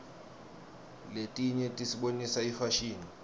letinye tisibonisa ifashini